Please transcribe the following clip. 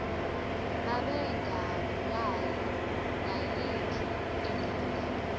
babengabulali nayiphi indoda